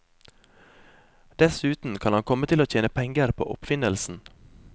Dessuten kan han komme til å tjene penger på oppfinnelsen.